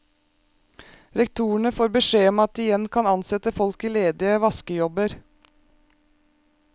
Rektorene får beskjed om at de igjen kan ansette folk i ledige vaskejobber.